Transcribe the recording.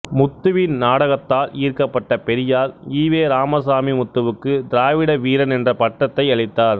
முத்துவின் நாடகத்தால் ஈர்க்கப்பட்ட பெரியார் ஈ வெ இராமசாமி முத்துவுக்கு திராவிட வீரன் என்ற பட்டத்தை அளித்தார்